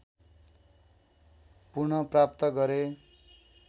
पुनःप्राप्त गरे